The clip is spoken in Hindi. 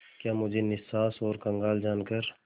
क्या मुझे निस्सहाय और कंगाल जानकर